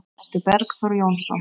eftir Bergþór Jónsson